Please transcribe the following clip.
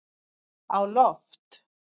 á loft